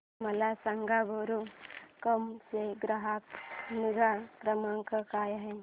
मला सांगा मेरू कॅब चा ग्राहक निगा क्रमांक काय आहे